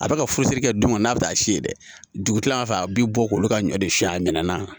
A bɛ ka furusiri kɛ don min kɔni n'a bɛ taa si yen dɛ dugu tilala fɛ a bɛ bɔ k'olu ka ɲɔ de siɲɛ a minɛn na